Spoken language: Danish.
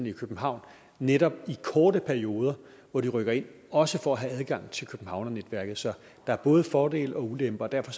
i københavn netop i kortere perioder hvor de rykker ind også for at have adgang til københavnernetværket så der er både fordele og ulemper og derfor